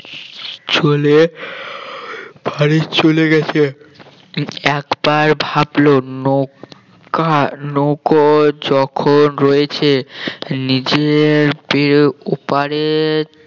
চলে বাড়ি চলে গেছে একবার ভাবলো নৌকার নৌকা যখন রয়েছে নিজের ওপারে